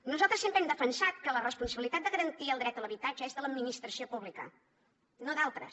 nosaltres sempre hem defensat que la responsabilitat de garantir el dret a l’habitatge és de l’administració pública no d’altres